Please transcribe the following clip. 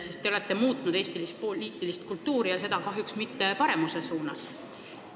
Sest te olete muutnud Eesti poliitilist kultuuri ja seda kahjuks mitte paremuse suunas.